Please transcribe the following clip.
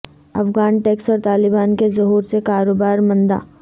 Afghan tax اور طالبان کے ظہور سے کاروبار مندہ